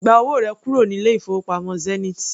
Gba owó rẹ kúrò ní ilé-ìfowópamọ́ Zenith!